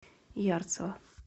ярцево